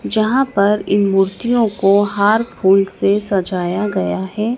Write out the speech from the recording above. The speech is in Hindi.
जहां पर इन मूर्तियों को हार फूल से सजाया गया है।